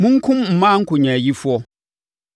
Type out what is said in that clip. “Monkum mmaa nkonyaayifoɔ.